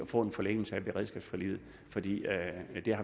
få en forlængelse af beredskabsforliget fordi